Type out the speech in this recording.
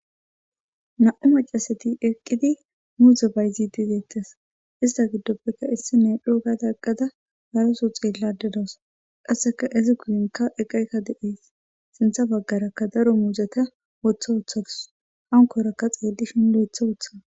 Nam,u macasati eqqidi muuze bayzidideettes ista giddoppeka issi ne dho gada eqqada haraso xeellade daws qasseka ezi guyinka eqayka de,ees sintha baggarakka daro muuzeta wotha wuththadus hankorakka xeellishin duetha wotha.